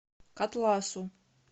котласу